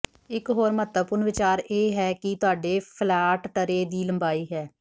ਇਕ ਹੋਰ ਮਹੱਤਵਪੂਰਣ ਵਿਚਾਰ ਇਹ ਹੈ ਕਿ ਤੁਹਾਡੇ ਫੈਲਾਟ ਟਰੇ ਦੀ ਲੰਬਾਈ ਹੈ